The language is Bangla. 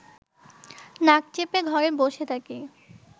নাক চেপে ঘরে বসে থাকি